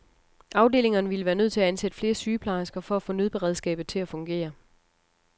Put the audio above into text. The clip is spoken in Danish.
Afdelingerne ville være nødt til at ansætte flere sygeplejersker for at få nødberedskabet til at fungere.